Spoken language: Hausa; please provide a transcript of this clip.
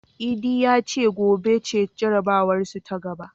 Idi ya ce gobe ce jarabawarsu ta gaba.